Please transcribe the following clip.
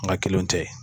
N ka kelenw tɛ